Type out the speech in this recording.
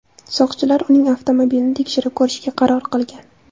Soqchilar uning avtomobilini tekshirib ko‘rishga qaror qilgan.